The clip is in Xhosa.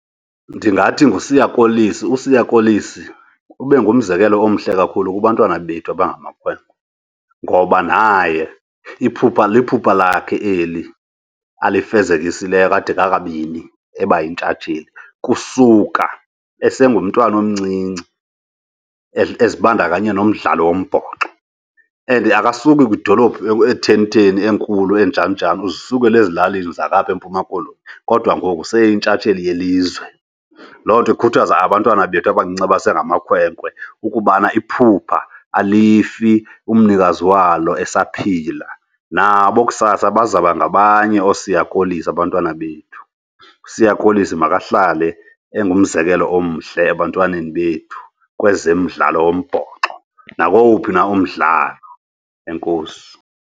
Ndingathi nguSiya Kolisi. USiya Kolisi ube ngumzekelo omhle kakhulu kubantwana bethu abangamakhwenkwe ngoba naye iphupha, liphupha lakhe eli alifezekisileyo kade kakabini eba yintshatsheli. Kusuka esengumntana omncinci ezibandakanye nomdlalo wombhoxo and akasuki kwidolophu ethenitheni, enkulu, enjaninjani, uzisukela ezilalini zalapha eMpuma Koloni kodwa ngoku seyitshantsheli yelizwe. Loo nto ikhuthaza abantwana bethu abancinci abasengamakhwenkwe ukubana iphupha alifuni umnikazi walo esaphila, nabo kusasa bazawuba ngabanye ooSiya Kolisi abantwana bethu. USiya Kolisi makahlale engumzekelo omhle ebantwaneni bethu kwezemidlalo wombhoxo, nakowuphi na umdlalo. Enkosi.